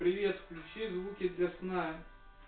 привет включи звуки для сна